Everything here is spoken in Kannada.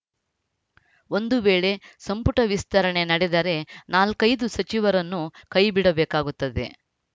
ಒಂದು ವೇಳೆ ಸಂಪುಟ ವಿಸ್ತರಣೆ ನಡೆದರೆ ನಾಲ್ಕೈದು ಸಚಿವರನ್ನು ಕೈಬಿಡಬೇಕಾಗುತ್ತದೆ